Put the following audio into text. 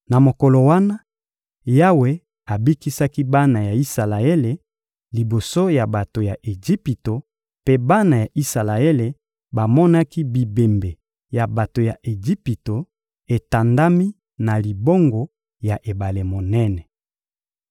Na mokolo wana, Yawe abikisaki bana ya Isalaele liboso ya bato ya Ejipito mpe bana ya Isalaele bamonaki bibembe ya bato ya Ejipito etandami na libongo ya ebale monene.